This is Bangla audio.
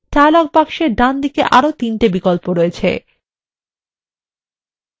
dialog box ডান দিকে আরো তিনটি বিকল্প আছে